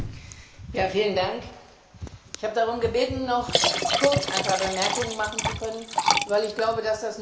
Herr Präsident! Ich habe darum gebeten, noch kurz einige Bemerkungen machen zu können, weil ich glaube, dass das notwendig ist.